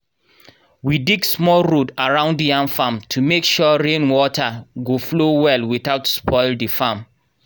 we dig small road around yam farm to make sure rain water go flow well without spoil the farm.